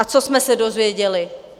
A co jsme se dozvěděli?